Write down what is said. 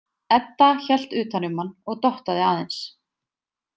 Edda hélt utan um hann og dottaði aðeins.